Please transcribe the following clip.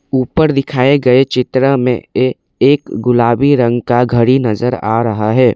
ऊपर दिखाए गए चित्र में एक गुलाबी रंग का घड़ी नजर आ रहा है।